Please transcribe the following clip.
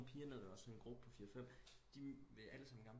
Nogen piger nede ved os sådan en gruppe på fire fem de vil alle sammen gerne